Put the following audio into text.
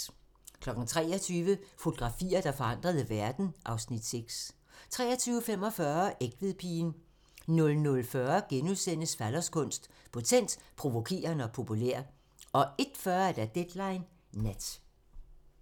23:00: Fotografier, der forandrede verden (Afs. 6) 23:45: Egtvedpigen 00:40: Falloskunst: Potent, provokerende og populær * 01:40: Deadline Nat